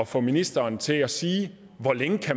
få ministeren til at sige hvor længe